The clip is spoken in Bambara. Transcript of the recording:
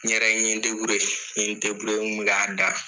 N yɛrɛ n ye deburiye n kun bɛ k'a da